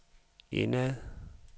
indad